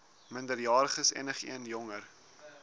minderjariges enigeen jonger